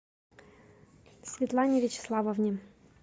светлане вячеславовне